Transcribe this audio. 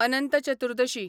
Anant Chaturdashi